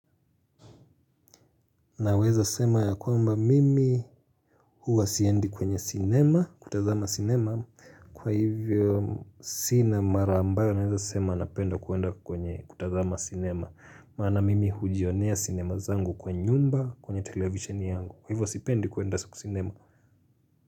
Naweza sema ya kwamba mimi huwa siendi kwenye sinema kutazama sinema. Kwa hivyo sinema ambayo naweza sema napenda kuenda kwenye kutazama sinema. Maana mimi hujionea sinema zangu kwa nyumba kwenye televisheni yangu kwa hivyo sipendi kuenda sinema.